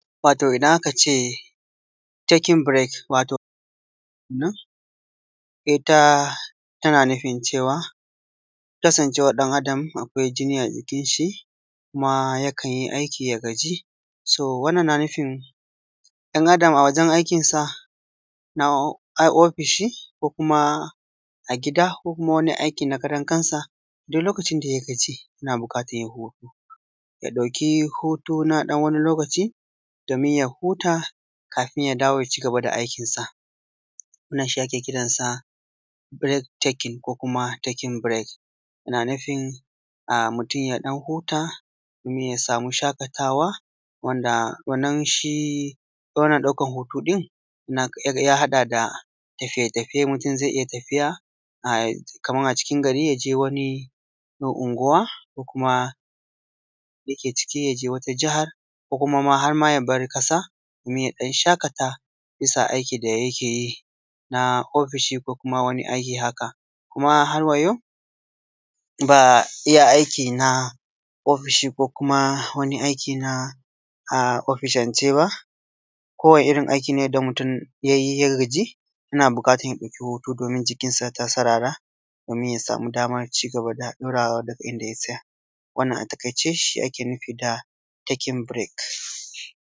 wato idan aka ce taking break wato abun nan ita tana nufin cewa kasancewan ɗan adam akwai jini a jikin shi kuma yakan yi aiki ya gaji so wannan na nufin ɗan adam a wajen aikinsa a ofishi ko kuma a gida ko kuma wani aiki na karan kansa duk lokacin da ya gaji yana buƙatan ya ɗauki hutu na ɗan wani lokaci domin ya huta kafin ya dawo ya cigaba da aikinsa wannan shi ake kiransa break taking ko kuma taking break ana nufin mutum ya ɗan huta kuma ya samu shaƙatawa wanda wannan shi wannan ɗaukan hutu ɗin ya haɗa da tafiye tafiye kaman a cikin gari ko unguwa ko kuma yake ciki ya je wata jahan ko kuma harma ya bar ƙasa kuma ya ɗan shaƙata bisa aikin da ya ke yi na ofishi ko kuma wani aiki haka kuma har wa yau ba iya aiki ba na ofishi ko kuma wani aiki na ofishance ba ko wani irin aiki ne da mutum ya yi ya gaji yana buƙatan ya ɗauki hutu domin jikinsa ya sarara domin ya samu damar cigaban ɗaurawa daga inda ya tsaya wannan a taƙaice shi ake nufi da taking break